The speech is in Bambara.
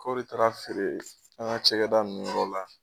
Kɔri taara feere an ŋa cɛgɛda ninnu yɔrɔ la